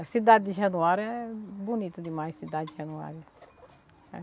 A cidade de Januário é bonita demais, a cidade de Januário.